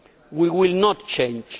We will not change.